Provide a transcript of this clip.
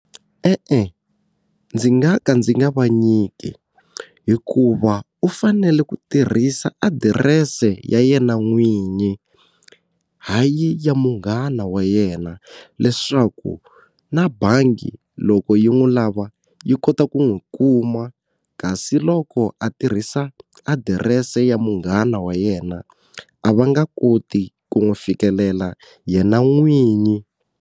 E-e, ndzi nga ka ndzi nga va nyiki hikuva u fanele ku tirhisa adirese ya yena n'winyi, hayi ya munghana wa yena leswaku na bangi loko yi n'wi lava yi kota ku n'wi kuma kasi loko a tirhisa adirese ya munghana wa yena a va nga koti ku n'wi fikelela yena n'winyi.